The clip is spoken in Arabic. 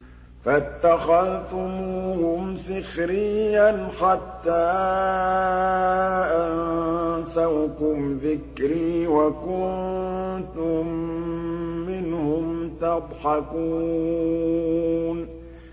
فَاتَّخَذْتُمُوهُمْ سِخْرِيًّا حَتَّىٰ أَنسَوْكُمْ ذِكْرِي وَكُنتُم مِّنْهُمْ تَضْحَكُونَ